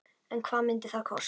En hvað myndi það kosta?